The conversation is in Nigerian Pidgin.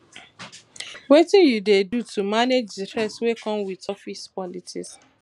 wetin you dey do to manage di stress wey come with office politics